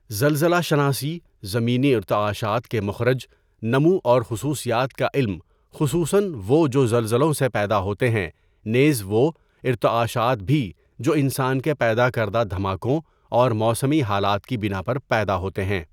زلزلہ شناسی، زمینی ارتعاشات کے مخرج، نمو اور خصوصیات کا علم خصوصاً وہ جو زلزلوں سے پیدا ہوتے ہیں نیز وہ ارتعاشات بھی جو انسان کے پید اکردہ دھماکوں اور موسمی حالات کی بنا پر پیداہوتے ہیں.